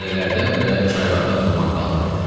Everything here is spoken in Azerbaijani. Dərələrdən və çaylardan duman qalxırdı.